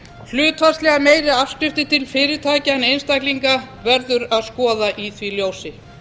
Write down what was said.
hlutfallslega meiri afskriftir til fyrirtækja en einstaklinga verður að skoða í því ljósi